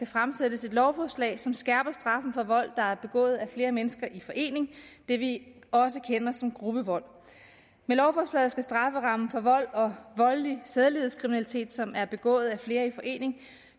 fremsættes et lovforslag som skærper straffen for vold der er begået af flere mennesker i forening det vi også kender som gruppevold med lovforslaget skal strafferammen for vold og voldelig sædelighedskriminalitet som er begået af flere i forening